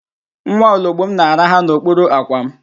Nwa ologbom na-araha n'okpuru àkwà m